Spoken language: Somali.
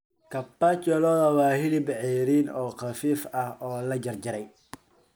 Carpaccio lo'da waa hilib cayriin oo khafiif ah oo la jarjaray.